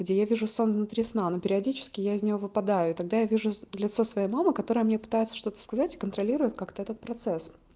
где я вижу сон внутри сна но периодически я из него выпадаю и тогда я вижу с лицо своей мамы которая мне пытается что-то сказать и контролирует как-то этот процесс